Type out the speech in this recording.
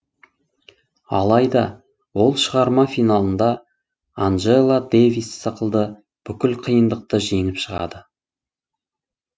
алайда ол шығарма финалында анджела дэвис сықылды бүкіл қиындықты жеңіп шығады